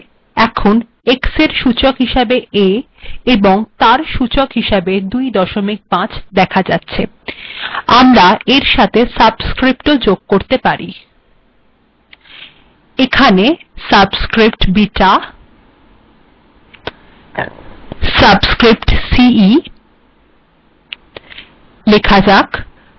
ঠিক আছে এখন x এর সূচক হিসাবে a তার সূচক ২৫ দেখা যাচ্ছে আমরা এর সাথে সাবস্স্ক্রিপ্টও যোগ করতে পারি এখানে সাবস্স্ক্রিপ্ট এবং তার সাবস্স্ক্রিপ্ট হিসাবে ceলেখা যাক সাবস্স্ক্রিপ্ট শেষ করা যাক